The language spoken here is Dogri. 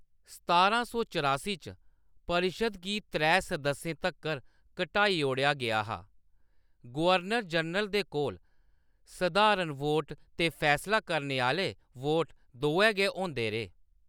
सतारा सौ चरासी च, परिशद् गी त्रै सदस्यें तक्कर घटाई ओड़ेआ गेआ हा; गवर्नर जनरल दे कोल सधारण वोट ते फैसला करने आह्‌‌ले वोट दोऐ गै होंदे रेह्।